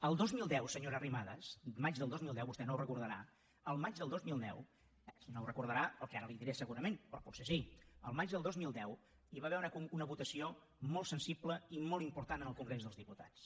el dos mil deu senyora arrimadas al maig del dos mil deu vostè no ho deu recordar no ho deu recordar pel que ara li diré segurament però potser sí hi va haver una votació molt sensible i molt important en el congrés dels diputats